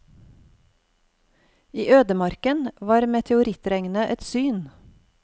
I ødemarken var meteorittregnet et syn.